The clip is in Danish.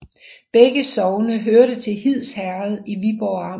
Begge sogne hørte til Hids Herred i Viborg Amt